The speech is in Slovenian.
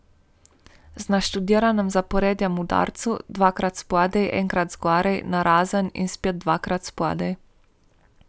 Z naštudiranim zaporedjem udarcev, dvakrat spodaj, enkrat zgoraj, narazen in spet dvakrat spodaj ...